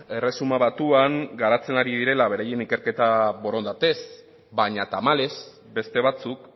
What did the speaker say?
erresuma batuan garatzen ari direla beraien ikerketak borondatez baina tamalez beste batzuk